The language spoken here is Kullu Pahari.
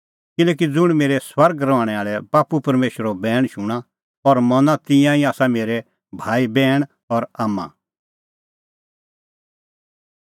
किल्हैकि ज़ुंण मेरै स्वर्गै रहणैं आल़ै बाप्पू परमेशरो बैण शूणां और मना तिंयां ई आसा मेरै भाईबैहणी और आम्मां